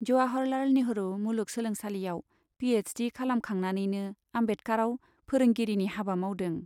जवाहरलाल नेहरु मुलुग सोलोंसालियाव P H D खालामखांनानैनो आम्बेदकाराव फोरोंगिरिनि हाबा मावदों।